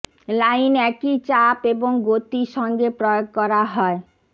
line একই চাপ এবং গতি সঙ্গে প্রয়োগ করা হয়